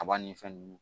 Kaba ni fɛn nunnu